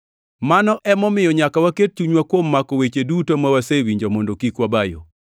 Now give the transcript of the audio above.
Mano emomiyo nyaka waket chunywa kuom mako weche duto mwasewinjo mondo kik waba yo.